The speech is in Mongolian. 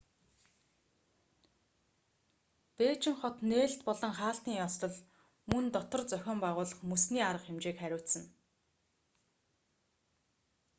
бээжин хот нээлт болон хаалтын ёслол мөн дотор зохион байгуулах мөсний арга хэмжээг хариуцна